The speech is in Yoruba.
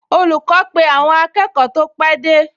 Olùkọ́ pe àwọn akẹ́kọ̀ọ tó pẹ́ dé